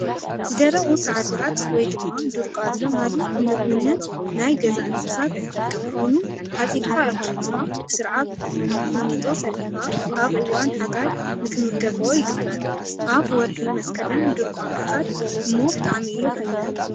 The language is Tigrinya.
ዝደረቁ ሳዕሪታት ወይ ድማ ዱርቃ ዝበሃሉ ንምግብነት ናይ ገዛ እንስሳት ዝጠቅም ኮይኑ ዓፂድካ ኣኺብካ ብስርዓት ቑሚጦ ሰሪሕካ ኣብ እዋን ሓጋይ ንክምገበኦ ይግበር። ኣብ ወረሒ መስከረም ድርቋ ምዕፃድ እሞ ብጣዕሚ እዩ ሓያል።